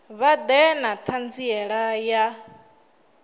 vha ḓe na ṱhanziela ya